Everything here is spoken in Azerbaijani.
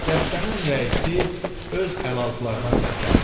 Dəstənin rəisi öz əlaltılarına səsləndi.